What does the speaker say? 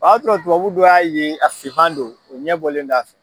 Ɔ y'a sɔrɔ dubabu dɔ y'a ye a sifan don, o ɲɛbɔlen do a fɛ